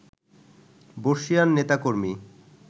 বর্ষিয়ান নেতাকর্মী